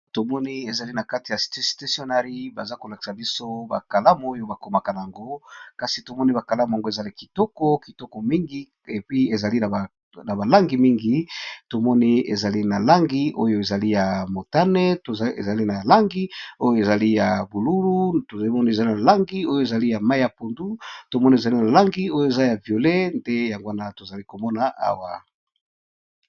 Tomoni ba kalamu nakati ya stationery bakomaka na yango eza kitoko mingi eza na balangi mingi langi ya mutane, bululu, mayi ya pondu na langi ya violet